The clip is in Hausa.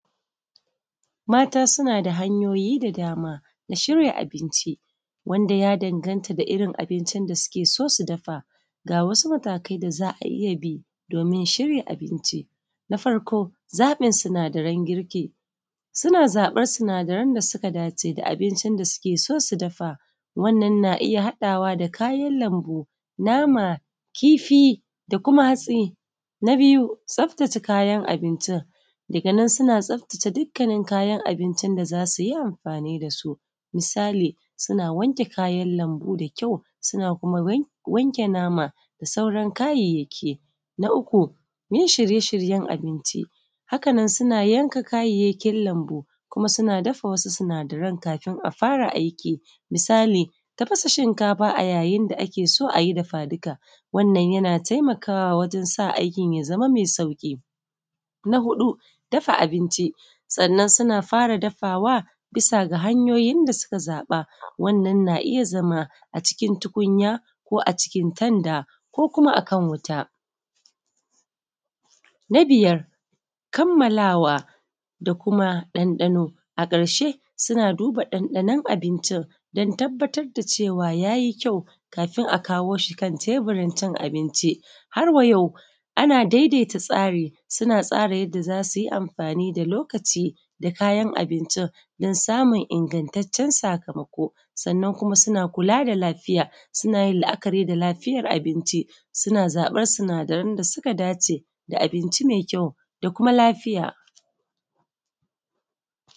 Mata sunada hanyoyi da dama shirya abinci, wanda ya danganta da irrin abincin da suke so su dafa ga wasu matakai da za’a iyya bi domin shirya abinci. Na farko zaɓin sinadaran jirki suna zaɓin sina daran girki, suna zaɓan sinadaran daya dace da irrin abincin da suke so su dafa wannan na iyya haɗawa da kayan lambu, nama, kifi da kuma hatsi. Na biyu tsatace kayan abinci dan suna tsaftace dukkanin kayan abincin da zasuyi amfani dasu. Misali suna wanke kayan lambu da kyau suna kuma wanke nama da sauran kayayyaki. Na uku yin shirye shiryen abinci hakanan suna yanka kayyakin lambu kuma suna dafa wasu sinadaran kafin a fara aiki. Misali tafasa shinkafa a yain da ake so ayi dafa dika wanna yana taimakawa wajen sa aikin ya zama mai sauƙi. Na huɗu dafa abinci sannan suna fara dafawa bisa ga hanyoyin da suka zaɓa wannan na iyya zama a cikin tukunya ko acikin tanda ko akan wuta. Na biyar kammalawa da kuma ɗan ɗano a karshe suna duba ɗan ɗanon abincin dan tabbatar da cewa yayi kyau kafin a kawo shi teburin cin abinci. Harwa yau ana daidai ta tsari suna tsara yanda zasuyi mafani da lokaci da kuma kayan abincin dan samun ingattacen sakamako sannan kuma suna, kula da lafiya sunayin la’akari da lafiyar abinci, suna zaɓan sinadaran da suka dace da abinci mai kyau da kuma lafiya.